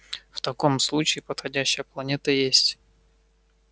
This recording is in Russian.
в таком случае подходящая планета есть